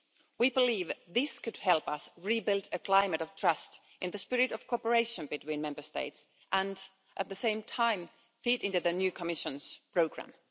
way. We believe this could help us rebuild a climate of trust in the spirit of cooperation between Member States and, at the same time, feed into the new Commission's programme.